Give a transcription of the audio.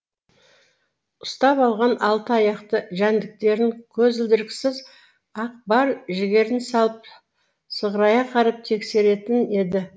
ұстап алған алты аяқты жәндіктерін көзілдіріксіз ақ бар жігерін салып сығырая қарап тексеретін еді